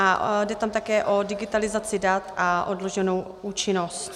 A jde tam také o digitalizaci dat a odloženou účinnost.